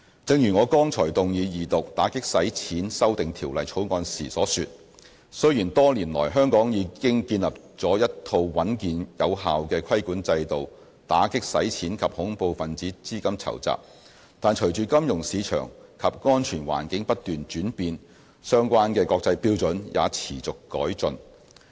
正如我剛才動議二讀《2017年打擊洗錢及恐怖分子資金籌集條例草案》時所說，雖然多年來香港已經建立了一套穩健有效的規管制度，打擊洗錢及恐怖分子資金籌集，但隨着金融市場及安全環境不斷轉變，相關的國際標準也持續改進。